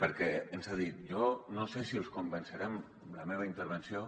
perquè ens ha dit jo no sé si els convenceré amb la meva intervenció